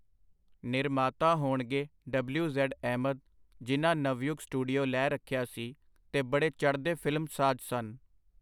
ਨਿਰਮਾਤਾ ਹੋਣਗੇ W. Z. Ahmad, ਜਿਨ੍ਹਾਂ ਨਵਯੁਗ ਸਟੂਡੀਓ ਲੈ ਰੱਖਿਆ ਸੀ, ਤੇ ਬੜੇ ਚੜ੍ਹਦੇ ਫਿਲਮਸਾਜ਼ ਸਨ.